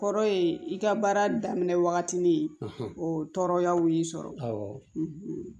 Kɔrɔ ye i ka baara daminɛ wagati ni o tɔɔrɔyaw y'i sɔrɔ